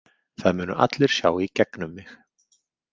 Það munu allir sjá í gegnum mig.